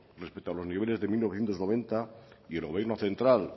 respecto a los niveles de mil novecientos noventa y el gobierno central